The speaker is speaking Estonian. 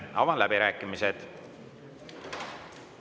Avan läbirääkimised.